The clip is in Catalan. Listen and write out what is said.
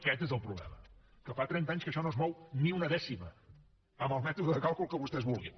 aquest és el problema que fa trenta anys que això no es mou ni una dècima amb el mètode de càlcul que vostès vulguin